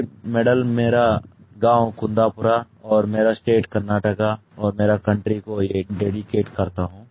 ये मेडल मेरा गाँव कुन्दापुरा कुंदापुर और मेरा स्टेट कर्नाटक और मेरा कंट्री को ये डेडिकेट करता हूँ